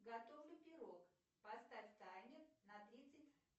готовлю пирог поставь таймер на тридцать